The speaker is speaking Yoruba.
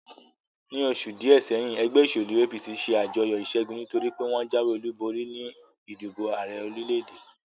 Ní oṣù díè sẹ́yìn, ẹgbẹ́ òṣèlú APC ṣe àjọyọ̀ ìṣẹ́gun, nítorí pé wọ́n jáwé olúborí ní ìdìbò Ààrẹ orílè-èdè